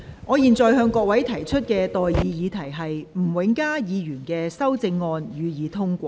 我現在向各位提出的待議議題是：吳永嘉議員動議的修正案，予以通過。